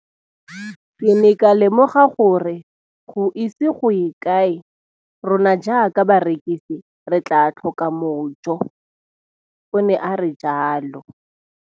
Ke ne ka lemoga gore go ise go ye kae rona jaaka barekise re tla tlhoka mojo, o ne a re jalo.